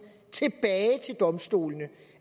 tilbage til domstolene